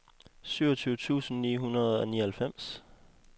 syvogtyve tusind ni hundrede og nioghalvfems